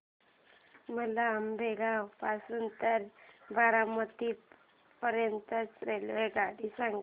मला आंबेगाव पासून तर बारामती पर्यंत ची रेल्वेगाडी सांगा